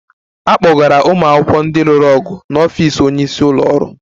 A kpọgara ụmụ akwụkwọ ndị lụrụ ọgụ n'ọfịs onye isi ụlọ ọrụ